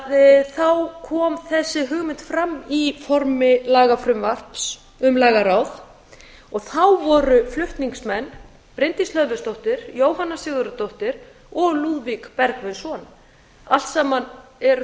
að þá kom þessi hugmynd fram í formi lagafrumvarps um lagaráð og þá voru flutningsmenn bryndís hlöðversdóttir jóhanna sigurðardóttir og lúðvík bergvinsson allt saman eru